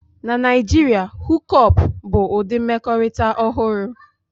Na Naijiria, Hook up bụ ụdị mmekọrịta ọhụrụ